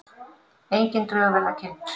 Engin drög verið kynnt